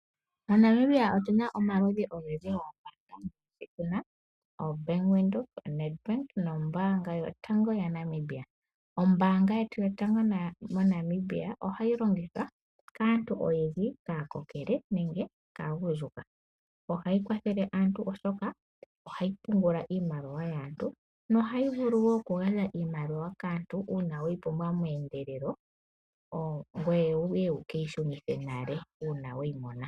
MoNamibia otu na omaludhi ogendji goombanga. Otu na oBank Windhoek, NedBank nombaanga yotango ya Namibia. Ombaanga yotango moNamibia ohayi longithwa kaantu oyendji, kaakokele nenge kaagundjuka. Ohayi kwathele aantu oshoka ohayi pungula iimaliwa yaantu nohayi vulu wo okugandja iimaliwa kaantu, uuna weyi pumbwa meendelelo, ngoye wuye wu keyi shunithe nale uuna weyi mona.